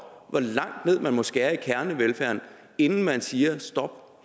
hvor langt ned man må skære i kernevelfærden inden man siger stop